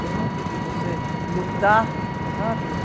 Foi muito difícil você lutar, sabe?